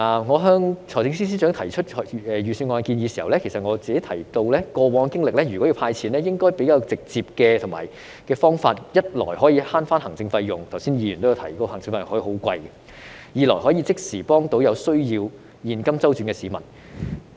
我向財政司司長提出預算案的建議時，也有提到過往的經歷，要"派錢"就應該採用較直接的方法，一來可以節省行政費用，因為剛才有議員提到行政費用可以很昂貴；二來可以即時幫助有需要現金周轉的市民。